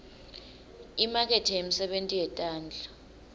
imakethe yemisebenti yetandla